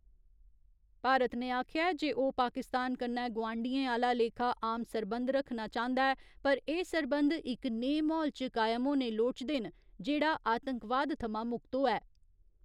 भारत ने आखेआ ऐ जे ओह् पाकिस्तान कन्नै गोआंढियें आह्‌ला लेखा आम सरबंध रक्खना चांह्‌दा ऐ पर एह् सरबंध इक नेह् म्हौल च कायम होने लोड़चदे न जेह्ड़ा आतंकवाद थमां मुक्त होऐ।